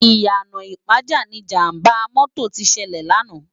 Iyana Ipaja ni Ijàmbá mòtó ti sèlè làná